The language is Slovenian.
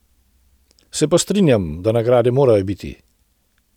Se pa strinjam, da nagrade morajo biti.